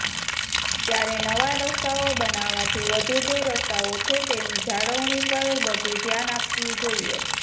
ત્યારે નવા રસ્તાઓ બનાવાથી વધુ જે રસ્તાઓ છે તેની જાળવણી પર વધુ ધ્યાન આપવું જોઇએ